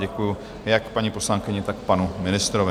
Děkuju jak paní poslankyni, tak panu ministrovi.